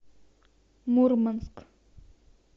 мурманск